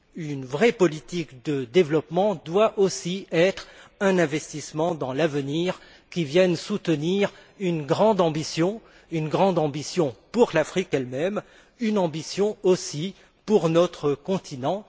Une vraie politique de développement doit aussi être un investissement dans l'avenir, qui vienne soutenir une grande ambition pour l'Afrique elle même, une ambition aussi pour notre continent.